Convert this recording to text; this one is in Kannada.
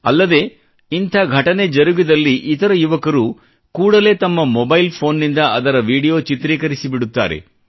ಅಲ್ಲದೆ ಇಂಥ ಘಟನೆ ಜರುಗಿದಲ್ಲಿ ಇತರ ಯುವಕರು ಕೂಡಲೇ ತಮ್ಮ ಮೊಬೈಲ್ ಫೋನ್ ನಿಂದ ಅದರ ವಿಡಿಯೋ ಚಿತ್ರಿಕರಿಸಿಬಿಡುತ್ತಾರೆ